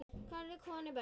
Karla, konur, börn.